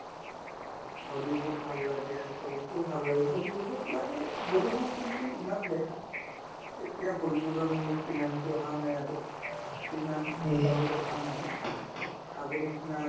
Hollywood ভাল লাগে তো ভাল লাগে বলীউড ত লাগে বলীউড কিন্তু ইমান দেখা এতিয়া বলীউড ৰ movie আহা নাই আৰু দেখা নাই আগৰ নিচিনা